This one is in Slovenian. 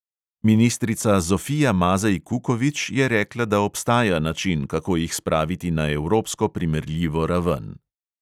Ministrica zofija mazej kukovič je rekla, da obstaja način, kako jih spraviti na evropsko primerljivo raven.